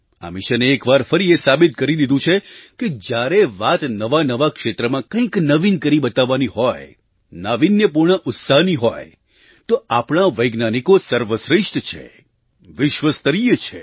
આ મિશને એક વાર ફરી એ સાબિત કરી દીધું છે કે જ્યારે વાત નવાનવા ક્ષેત્રમાં કંઈક નવીન કરી બતાવવાની હોય નાવિન્યપૂર્ણ ઉત્સાહની હોય તો આપણા વૈજ્ઞાનિકો સર્વશ્રેષ્ઠ છે વિશ્વસ્તરીય છે